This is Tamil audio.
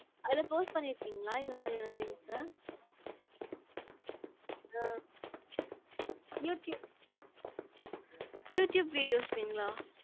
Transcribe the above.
அதுல post பண்ணிருக்கீங்களா, இந்தமாதிரியான things uh ah you tube you tube videos ங்களா?